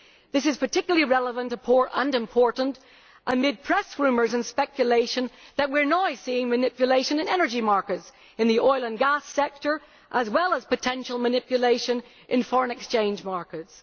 This is particularly relevant and important amid press rumours and speculation that we are now seeing manipulation in energy markets in the oil and gas sector as well as potential manipulation in foreign exchange markets.